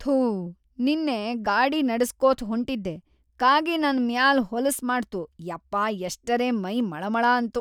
ಥೂ ನಿನ್ನೆ ಗಾಡಿ ನಡಸ್ಕೋತ್ ಹೊಂಟಿದ್ದೆ‌ ಕಾಗಿ ನನ್‌ ಮ್ಯಾಲೇ ಹೊಲಸ್‌ ಮಾಡ್ತು ಯಪ್ಪಾ ಎಷ್ಟರೆ ಮೈ ಮಳಮಳ ಅಂತು.